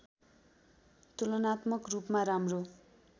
तुलनात्मक रूपमा राम्रो